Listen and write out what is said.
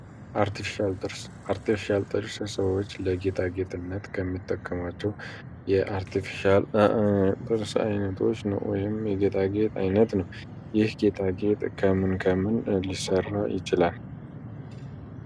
አርቲፊሻል ጥርስ ሰዎች ለጌጣ ጌጥነት ከሚጠቀማቸው የጥርስ አይነቶች ውስጥ አንዱ ነው ወይም የጌጣ ጌጥ ዓይነት ነው ይህ ጌታ ጌጥ ከምን ከምን ሊሠራ ይችላል?